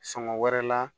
Sɔngɔ wɛrɛ la